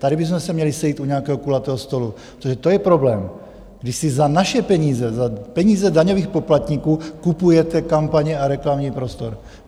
Tady bychom se měli sejít u nějakého kulatého stolu, protože to je problém, když si za naše peníze, za peníze daňových poplatníků, kupujete kampaně a reklamní prostor.